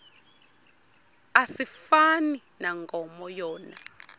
asifani nankomo yona